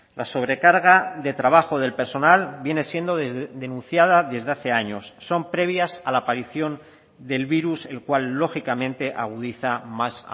la sobrecarga de trabajo del personal viene siendo denunciada desde hace años son previas a la aparición del virus el cual lógicamente agudiza más